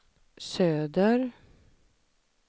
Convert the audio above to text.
söder